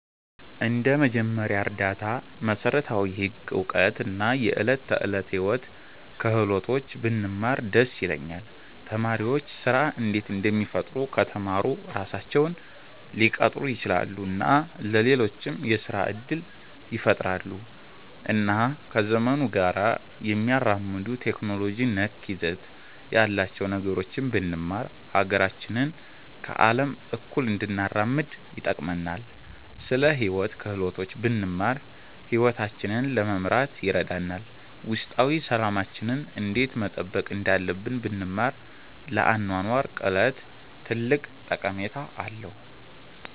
እንደ መጀመሪያ እርዳታ፣ መሠረታዊ ህግ እውቀት እና የዕለት ተዕለት ሕይወት ክህሎቶች ብንማር ደስ ይለኛል። ተማሪዎች ስራ እንዴት እንደሚፈጥሩ ከተማሩ ራሳቸውን ሊቀጥሩ ይችላሉ እና ለሌሎችም የስራ እድል ይፈጥራሉ። እና ከዘመኑ ጋር የሚያራምዱ ቴክኖሎጂ ነክ ይዘት ያላቸውን ነገሮች ብንማር ሀገራችንን ከአለም እኩል እንድናራምድ ይጠቅመናል። ስለ ሂወት ክህሎቶች ብንማር ሂወታችንን ለመምራት ይረዳናል። ውስጣዊ ሠላማችንን እንዴት መጠበቅ እንዳለብን ብንማር ለአኗኗር ቅለት ትልቅ ጠቀሜታ አለዉ።